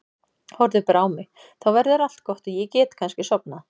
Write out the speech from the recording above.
Horfðu bara á mig, þá verður allt gott og ég get kannski sofnað.